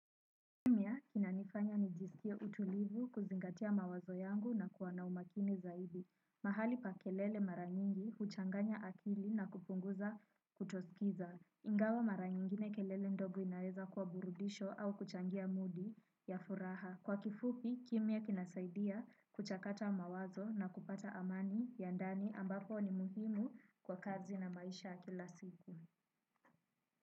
Kina nifanya nijisikie utulivu kuzingatia mawazo yangu na kuwana umakini zaidi. Mahali pa kelele mara nyingi huchanganya akili na kupunguza kutosikiza. Ingawa mara nyingine kelele ndogo inaweza kwa burudisho au kuchangia moodi ya furaha. Kwa kifupi, kimya kinasaidia kuchakata mawazo na kupata amani ya ndani ambapo ni muhimu kwa kazi na maisha ya kila siku.